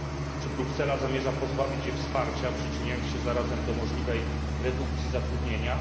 Czy Bruksela zamierza pozbawić je wsparcia, przyczyniając się zarazem do możliwej redukcji zatrudnienia?